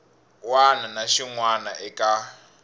wana na xin wana eka